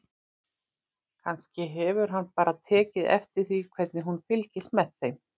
Kannski hefur hann bara tekið eftir því hvernig hún fylgist með þeim.